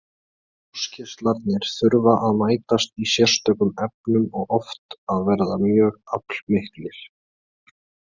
Ljósgeislarnir þurfa að mætast í sérstökum efnum og oft að vera mjög aflmiklir.